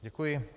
Děkuji.